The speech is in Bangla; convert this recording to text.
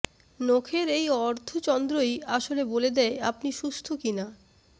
নখের এই অর্ধচন্দ্রই আসলে বলে দেয় আপনি সুস্থ কিনা